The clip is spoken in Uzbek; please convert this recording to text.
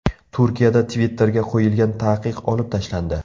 Turkiyada Twitter’ga qo‘yilgan taqiq olib tashlandi.